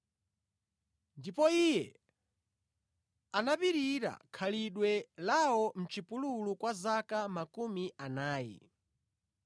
Ndipo Iye anapirira khalidwe lawo mʼchipululu kwa zaka makumi anayi.